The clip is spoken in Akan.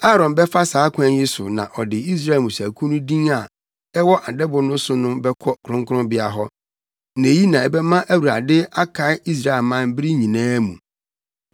“Aaron bɛfa saa kwan yi so na ɔde Israel mmusuakuw no din a ɛwɔ adɛbo no so no bɛkɔ kronkronbea hɔ; na eyi na ɛbɛma Awurade akae Israelman bere nyinaa mu.